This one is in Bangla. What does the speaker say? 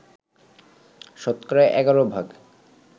শতকরা ১১ ভাগ